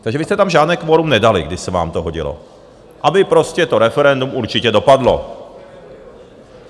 Takže vy jste tam žádné kvorum nedali, když se vám to hodilo, aby prostě to referendum určitě dopadlo.